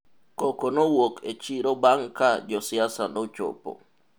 koko nowuok e chiro bang' ka josiasa nochopo